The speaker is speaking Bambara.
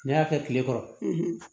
Ne y'a kɛ kile kɔrɔ